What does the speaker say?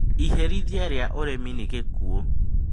Iherithia rĩa ũremi nĩ gĩkuũ.